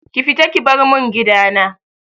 Ki fita ki bar mun gidana!